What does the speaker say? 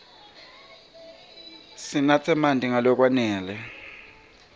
sinatse marti nga lokwanele